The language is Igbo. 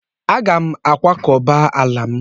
Aga m akwakọba ala m.